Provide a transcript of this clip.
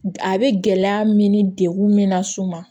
A bɛ gɛlɛya min ni degun min na s'u ma